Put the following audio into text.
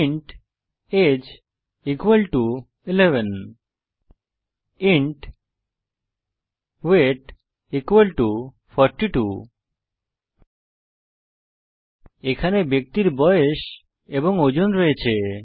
int age equal to 11 int weight equal to 42 এখানে ব্যক্তির বয়স এবং ওজন রয়েছে